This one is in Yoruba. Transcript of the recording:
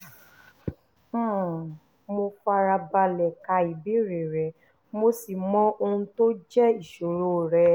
um mo fara balẹ̀ ka ìbéèrè rẹ mo sì mọ ohun tó jẹ́ ìṣòro rẹ